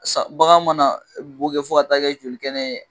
Sa bagan mana boo kɛ fɔ ka taa kɛ joli kɛnɛ ye